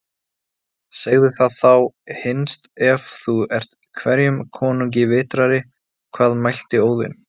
Segðu það þá hinst ef þú ert hverjum konungi vitrari: Hvað mælti Óðinn